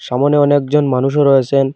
সামোনে অনেকজন মানুষও রয়েসেন ।